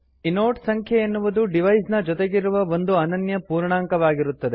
inode ಸಂಖ್ಯೆ ಎನ್ನುವುದು device ನ ಜೊತೆಗಿರುವ ಒಂದು ಅನನ್ಯ ಪೂರ್ಣಾಂಕವಾಗಿರುತ್ತದೆ